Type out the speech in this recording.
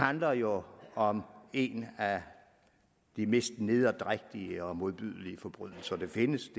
handler jo om en af de mest nederdrægtige og modbydelige forbrydelser der findes